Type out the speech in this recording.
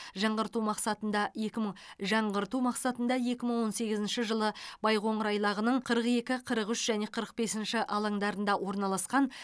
жаңғырту мақсатында екі мың жаңғырту мақсатында екі мың он сегізінші жылы байқоңыр айлағының қырық екі қырық үш және қырық бесінші алаңдарында орналасқан